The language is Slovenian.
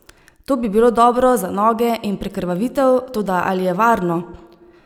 To bi bilo dobro za noge in prekrvavitev, toda ali je varno?